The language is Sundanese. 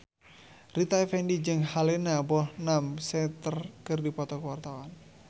Rita Effendy jeung Helena Bonham Carter keur dipoto ku wartawan